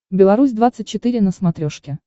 беларусь двадцать четыре на смотрешке